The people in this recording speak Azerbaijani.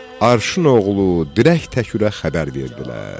Arşın oğlu dirək Təkürə xəbər verdilər.